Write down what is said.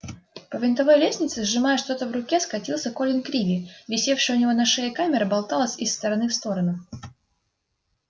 по винтовой лестнице сжимая что-то в руке скатился колин криви висевшая у него на шее камера болталась из стороны в сторону